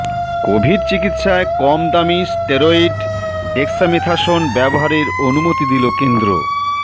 Covid চিকিৎসায় কম দামি স্টেরয়েড ডেক্সামেথাসোন ব্যবহারে অনুমতি দিল কেন্দ্র